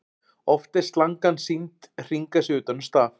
Oft er slangan sýnd hringa sig utan um staf.